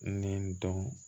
Ni n dɔn